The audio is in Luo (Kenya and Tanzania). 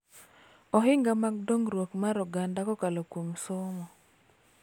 Ohinga mag dongruok mar oganda kokalo kuom somo